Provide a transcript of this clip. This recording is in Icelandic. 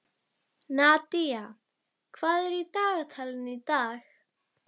Nadía, hvað er í dagatalinu í dag?